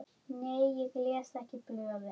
Nei ég les ekki blöðin.